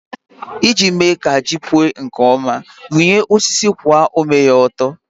Iji mee ka ji gị puo nke ọma, rụnyere osisi kwụwa ome ya ọtọ.